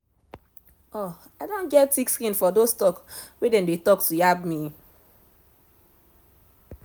i don get thick skin for dos talk wey dem dey talk to yaba me